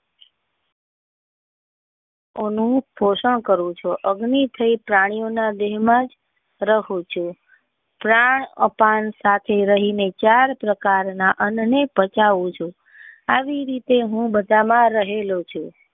ઓ નું સોસણ કરું છુ અગ્નિ એ પ્રાણી ઓ ના દેહ માં જ રહુ છું પ્રાણ અતં સાથે રહી ને ચાર પ્રકાર ના અન્ન ને પચાવું છુ આવી રીતે હું બધા માં રહેલો છુ.